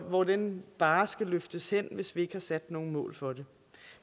hvor den barre skal løftes hen hvis vi ikke har sat nogen mål for det